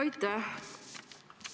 Aitäh!